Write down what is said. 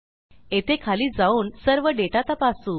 येथे खाली जाऊन सर्व डेटा तपासू